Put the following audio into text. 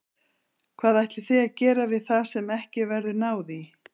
Hvað ætlið þið að gera við það sem ekki verður náð í?